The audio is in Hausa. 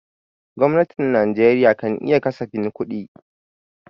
Gwamnatin Najeriya kan yi kasafin kudi.